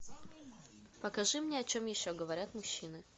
покажи мне о чем еще говорят мужчины